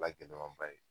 La gɛlɛmaba ye